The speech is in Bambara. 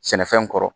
Sɛnɛfɛn kɔrɔ